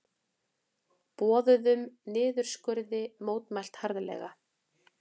Boðuðum niðurskurði mótmælt harðlega